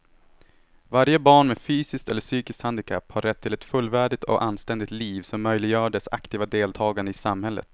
Varje barn med fysiskt eller psykiskt handikapp har rätt till ett fullvärdigt och anständigt liv som möjliggör dess aktiva deltagande i samhället.